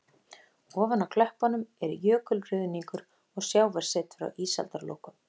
Ofan á klöppunum er jökulruðningur og sjávarset frá ísaldarlokum.